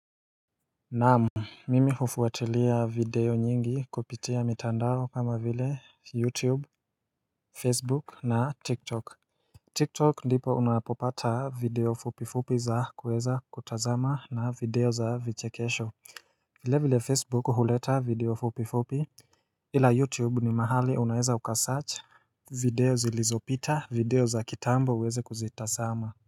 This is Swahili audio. Naamu mimi hufuatilia video nyingi kupitia mitandaro kama vile youtube facebook na tik tok, tik tok ndipo unapopata video fupi fupi za kuweza kutazama na video za vichekesho vile vile facebook huleta video fupi fupi ila youtube ni mahali unaeza uka search video zilizopita video za kitambo uweze kuzitasama.